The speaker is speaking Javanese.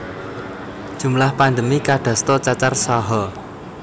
Jumlah pandemi kadasta cacar saha